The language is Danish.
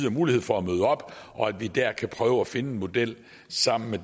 og mulighed for at møde op og at vi der kan prøve at finde en model sammen med